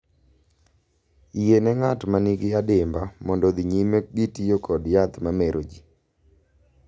Yiene ng’at ma nigi adimba mondo odhi nyime gi tiyo kod yath ma mero ji